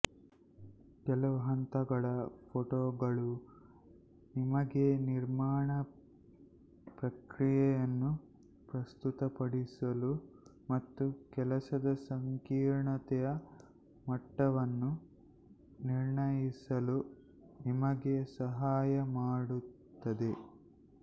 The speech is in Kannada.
ಕೆಲವು ಹಂತಗಳ ಫೋಟೋಗಳು ನಿಮಗೆ ನಿರ್ಮಾಣ ಪ್ರಕ್ರಿಯೆಯನ್ನು ಪ್ರಸ್ತುತಪಡಿಸಲು ಮತ್ತು ಕೆಲಸದ ಸಂಕೀರ್ಣತೆಯ ಮಟ್ಟವನ್ನು ನಿರ್ಣಯಿಸಲು ನಿಮಗೆ ಸಹಾಯ ಮಾಡುತ್ತದೆ